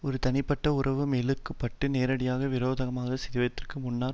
ஒரு தனிப்பட்ட உறவு மோதலுக்குட்பட்டு நேரடியான விரோதமாக சிதைவதற்கு முன்னர்